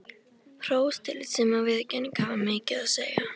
Hrós, tillitssemi og viðurkenning hafa mikið að segja.